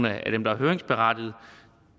af dem der er høringsberettigede